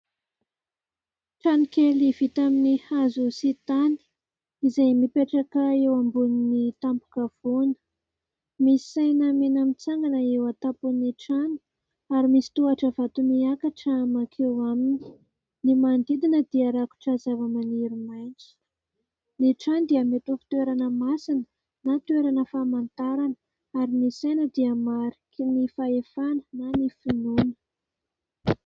Trano kely vita amin'ny hazo sy tany, izay mipetraka eo ambon'ny tampo-kavoana. Misy saina mena mitsangana eo antapon'ny trano ary misy tohatra vato miakatra mankeo aminy. Ny manodidina dia rakotra zava-maniry maintso. Ny trano dia mety ho toerana masina na toerana fahamantarana ary ny saina dia mariky ny fahefana na ny finoana.